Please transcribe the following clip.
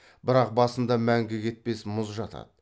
бірақ басында мәңгі кетпес мұз жатады